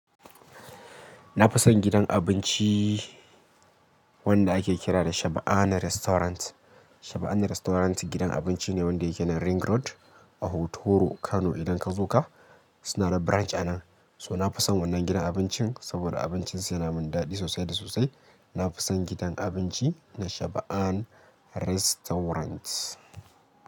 Na fi son gidan abinci wanda ake kira da Shabana Restaurant. Shabana Restaurant gidan abinci ne wanda yake nan Ring Road a Hotoro Kano. Idan ka zo ka, suna da branch a nan. So na fi son wannan gidan abincin saboda abincinsa yana min daɗi sosai da sosai. Na fi son gidan abinci na Shabana Restaurant.